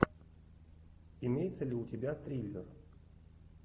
имеется ли у тебя триллер